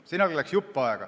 Sinna läks aega.